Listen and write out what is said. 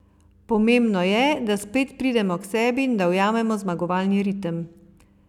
Pomembno je, da spet pridemo k sebi in da ujamemo zmagovalni ritem.